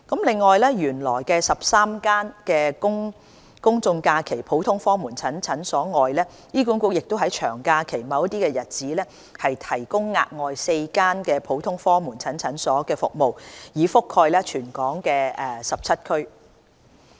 此外，除原來13間公眾假期普通科門診診所外，醫管局亦在長假期某些日子提供額外4間普通科門診診所的服務，以覆蓋全港17區。